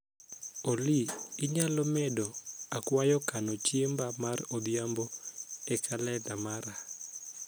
oly inyalomedo akwayo kano chiemba mar odhiambo e kalenda mara